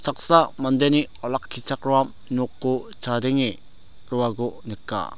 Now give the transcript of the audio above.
saksa mandeni olakkichakram noko chadenge roako nika.